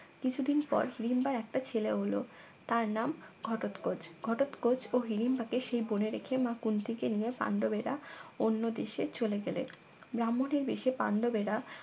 কিছুদিন পর হিরিম্বার একটা ছেলে হল তার নাম ঘটোৎকচ ঘটোৎকচ ও হিড়িম্বাকে সেই বনে রেখে মা কুন্তিকে নিয়ে পাণ্ডবেরা অন্য দেশে চলে গেলেন ব্রাহ্মণের বেশে পাণ্ডবেরা